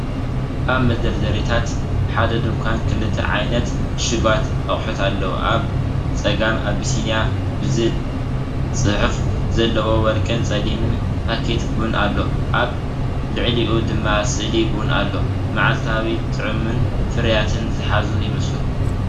ኣብ መደርደሪታት ሓደ ድኳን ክልተ ዓይነት ፅሹጓት ኣቑሑት ኣለዉ። ኣብ ጸጋም "ኣቢሲንያ" ዝብል ጽሑፍ ዘለዎ ወርቅን ጸሊምን ፓኬት ቡን ኣሎ፡ ኣብ ልዕሊኡ ድማ ስእሊ ቡን ኣሎ። መዓልታዊን ጥዑምን ፍርያት ዝሓዙ ይመስሉ፡፡